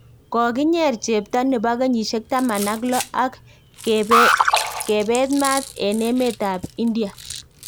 Kokinyer chepto nebo kenyisiek taman ak loh ak kebet maat en emet ab India